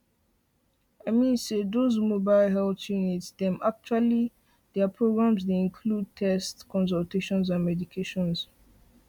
i mean say doz mobile health units dem actually their programs dey include tests consultations and medication